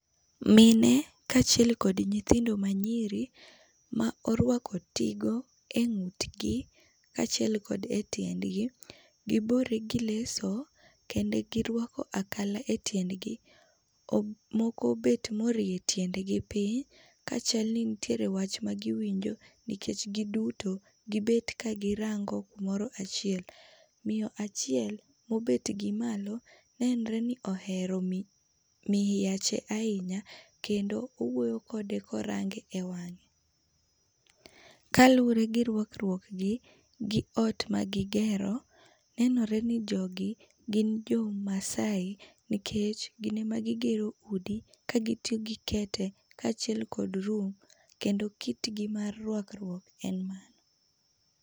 Mine kaachiel kod nyitindo ma nyiri ma orwako tigo e ngutgi kachiel kod e tiendgi. Gibore gi leso kendo girwako akala e tiendgi, Moko obet ma orie tiendgi piny ka chalni nitie wach ma giwinjo nikech giduto gibet ka girango kumoro achiel. Miyo achiel mobet gi malo nenre ni ohero mihiache ahinya kendo owuoyo kode korange e wang'e. Kaluore gi rwakruok gi gi ot ma gigero, nenore ni jogi gin jo maasai nikech gin ema gigero udi kagitiyo gi kete kachiel kod lum kendo kitgi mar rwakruok en mae